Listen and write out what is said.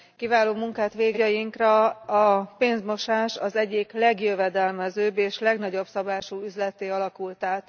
Kiváló munkát végeztek. Napjainkra a pénzmosás az egyik legjövedelmezőbb és legnagyobb szabású üzletté alakult át.